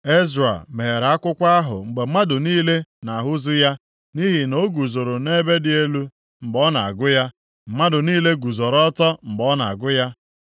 Ezra meghere akwụkwọ ahụ mgbe mmadụ niile na-ahụzu ya nʼihi na o guzoro nʼebe dị elu mgbe ọ na-agụ ya. Mmadụ niile guzoro ọtọ mgbe ọ na-agụ ya.